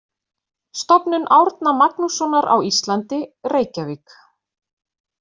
Stofnun Árna Magnússonar á Íslandi: Reykjavík.